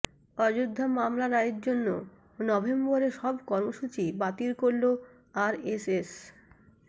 অযোধ্যা মামলা রায়ের জন্য নভেম্বরে সব কর্মসূচি বাতিল করল আরএসএস